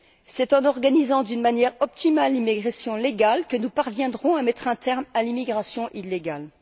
C'est en organisant d'une manière optimale l'immigration légale que nous parviendrons à mettre un terme à l'immigration illégale.